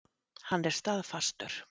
Hann er staðfastur.